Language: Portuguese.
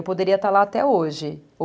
Eu poderia estar lá até hoje, ou